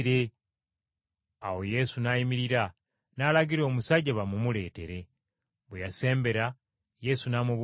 Awo Yesu n’ayimirira, n’alagira, omusajja bamumuleetere. Bwe yasembera, Yesu n’amubuuza nti,